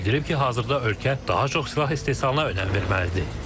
Bildirib ki, hazırda ölkə daha çox silah istehsalına önəm verməlidir.